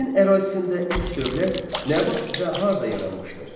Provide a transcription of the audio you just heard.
Çin ərazisində ilk dövlət nə vaxt və harda yaranmışdır?